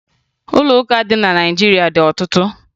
Ụlọ ụka dị na Naịjirịa dị ọtụtụ